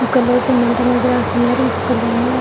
ఒక్కలు సిమెంట్ అనేది వేస్తున్నారు. ఇంకొకరేమో --